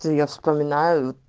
я вспоминаю